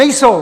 Nejsou!